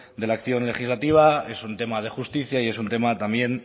de la acción legislativa es un tema de justicia y es un tema también